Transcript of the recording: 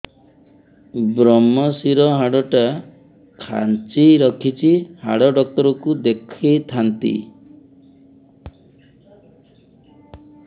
ଵ୍ରମଶିର ହାଡ଼ ଟା ଖାନ୍ଚି ରଖିଛି ହାଡ଼ ଡାକ୍ତର କୁ ଦେଖିଥାନ୍ତି